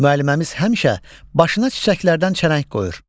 Müəlliməmiz həmişə başına çiçəklərdən çələng qoyur.